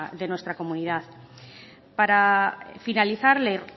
de nuestra comunidad para finalizar